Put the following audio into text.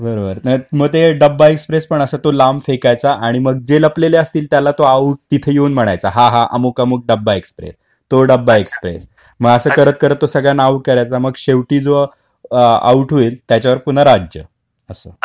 बरोबर मग ते डब्बा एक्सप्रेस पण असं तो लांब फेकायचा आणि मग जे लपलेले असतील त्याला तो आऊट तिथे येऊन म्हणायचा, हा हा अमुक अमुक डब्बा एक्सप्रेस. तो डब्बा एक्सप्रेस. मग असं करत करत तो सगळ्यांना आऊट करायचा मग शेवटी जो आऊट होईल, त्याच्यावर पुन्हा राज्य. असं.